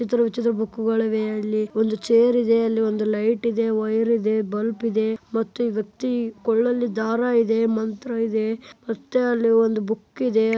ವಿಚಿತ್ರ ವಿಚಿತ್ರ ಬುಕ್ಕು ಗಳಿವೆ ಅಲ್ಲಿ ಒಂದು ಚೇರ್ ಇದೆ ಒಂದು ಲೈಟ್ ಇದೆ ವೈರ್ ಇದೆ ಬಲ್ಪ್ ಇದೆ ಮತ್ತೆ ವ್ಯಕ್ತಿ ಕೋರ್ಳಲ್ಲಿ ದಾರ ಇದೆ ಮಂತ್ರ ಇದೆ ಮತ್ತೆ ಅಲ್ಲೊಂದ ಬುಕ್ಕಿದೆ .